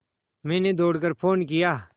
मैंने दौड़ कर फ़ोन किया